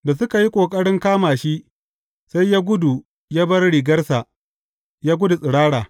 Da suka yi ƙoƙarin kama shi, sai ya gudu ya bar rigarsa, ya gudu tsirara.